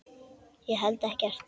Ég held ekkert.